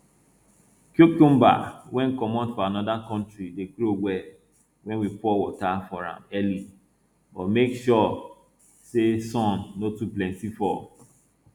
cucumber wey comot from anoda country dey grow well wen we pour water for am early but make sure say sun no too plenty for